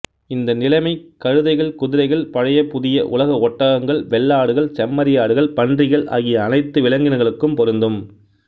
இந்த நிலைமை கழுதைகள் குதிரைகள் பழைய புதிய உலக ஒட்டகங்கள் வெள்ளாடுகள் செம்மறியாடுகள் பன்றிகள் ஆகிய அனைத்து விலங்கினங்களுக்கும் பொருந்தும்